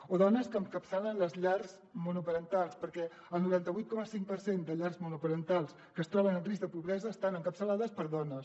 o dones que encapçalen les llars monoparentals perquè el noranta vuit coma cinc per cent de llars monoparentals que es troben en risc de pobresa estan encapçalades per dones